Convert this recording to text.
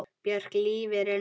Björk Lífið er núna!